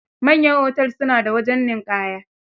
Manyan otel su na da wajen ninƙaya.